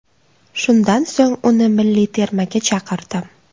Shundan so‘ng uni milliy termaga chaqirdim.